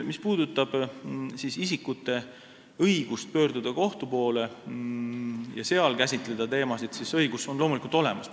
Mis puudutab isikute õigust pöörduda kohtu poole ja seal käsitleda teemasid, siis see õigus on loomulikult olemas.